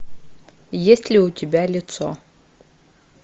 есть ли у тебя лицо